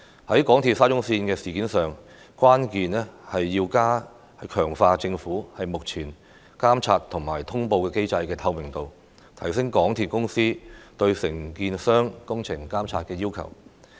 在港鐵沙中線的事件上，關鍵是要強化政府目前監察與通報機制的透明度，提升港鐵公司對承建商工程監管的要求。